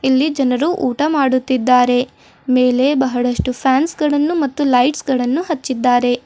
ಇಲ್ಲಿ ಜನರು ಊಟ ಮಾಡುತ್ತಿದ್ದಾರೆ ಮೇಲೆ ಬಹಳಷ್ಟು ಫ್ಯಾನ್ಸ್ಗಳನ್ನು ಮತ್ತು ಲೈಟ್ಸ್ಗಳನ್ನು ಹಚ್ಚಿದ್ದಾರೆ.